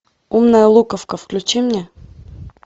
умная луковка включи мне